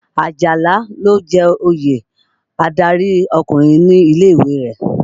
Àjàlá ló jẹ oyè adárí ọkùnrin ní ilé-ìwé rẹ̀.